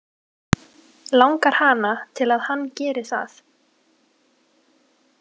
Langar hana til að hann geri það?